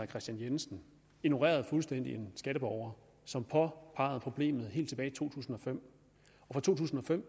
kristian jensen ignorerede fuldstændig en skatteborger som påpegede problemet helt tilbage i to tusind og fem fra to tusind og fem